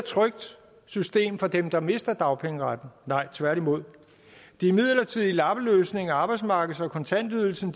trygt system for dem der mister dagpengeretten nej tværtimod de midlertidige lappeløsninger arbejdsmarkeds og kontantydelsen